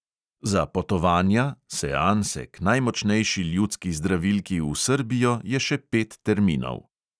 Za potovanja k najmočnejši ljudski zdravilki v srbijo je še pet terminov!